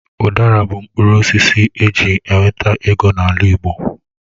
Udara bụ mkpụrụ osisi eji enweta ego n'ala Igbo.